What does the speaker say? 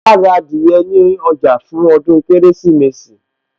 Àà ra adìyẹ ní ọjà fún ọdún Kérésìmesì